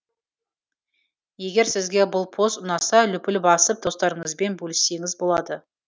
егер сізге бұл пост ұнаса лүпіл басып достарыңызбен бөліссеңіз болады